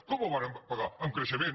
com el varen pagar amb creixement